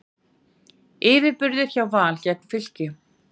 Yfirburðir hjá Val gegn Fylki